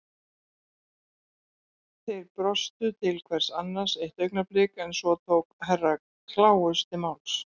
Þeir brostu til hvers annars eitt augnablik en svo tók Herra kláus til máls.